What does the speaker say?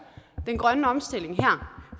den grønne omstilling